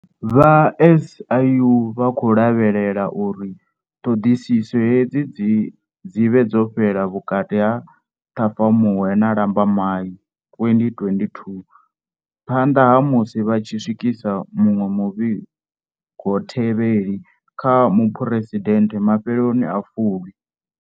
Vha SIU vha khou lavhelela uri ṱhoḓisiso hedzi dzi vhe dzo fhela vhukati ha Ṱhafamuhwe na Lambamai 2022, phanḓa ha musi vha tshi swikisa muṅwe muvhigothevheli kha Muphuresidennde mafheloni a Fulwi.